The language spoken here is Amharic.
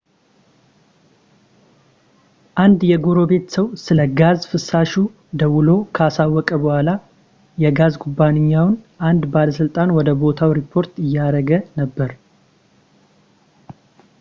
አንድ የጎረቤት ሰው ስለ ጋዝ ፍሳሹ ደውሎ ካሳወቀ በኋላ የጋዝ ኩባንያው አንድ ባለሥልጣን ወደ ቦታው ሪፖርት እያደረገ ነበር